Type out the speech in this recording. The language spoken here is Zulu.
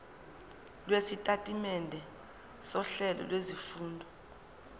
lwesitatimende sohlelo lwezifundo